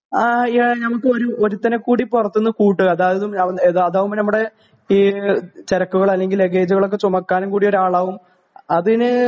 ആ യ നമുക്ക് ഒരു ഒരുത്തനെ കൂടി പുറത്തുന്നു കൂട്ടുക അതായ അതാവുമ്പോ നമ്മുടെ ചരക്കുകള് അല്ലെങ്കില് ലഗേജുകളൊക്കെ ചുമക്കാനും കൂടി ഒരാളാകും അതിന്